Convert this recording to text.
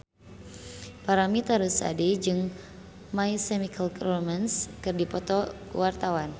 Paramitha Rusady jeung My Chemical Romance keur dipoto ku wartawan